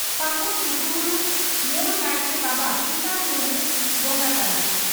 ᱯᱷᱟᱹᱜᱩᱱ ᱞᱩᱜᱩᱵᱩᱨᱩ ᱢᱩᱲ ᱱᱟᱭᱠᱮ ᱵᱟᱵᱟ ᱠᱤᱥᱟᱱ ᱢᱩᱨᱢᱩ ᱵᱚᱸᱜᱟ ᱛᱟᱞᱟ